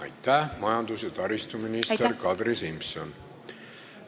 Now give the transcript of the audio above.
Aitäh, majandus- ja taristuminister Kadri Simson!